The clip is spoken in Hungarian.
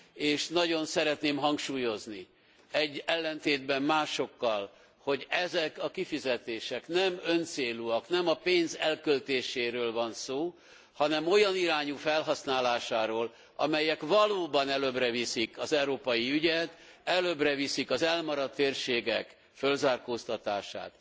És nagyon szeretném hangsúlyozni, ellentétben másokkal, hogy ezek a kifizetések nem öncélúak, nem a pénz elköltéséről van szó, hanem olyan irányú felhasználásáról, amelyek valóban előbbre viszik az európai ügyet, előbbre viszik az elmaradt térségek fölzárkóztatását.